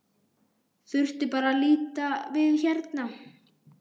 Þurfti bara að líta við hérna.